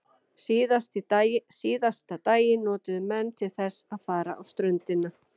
Síðasta daginn notuðu menn til þess að fara á ströndina.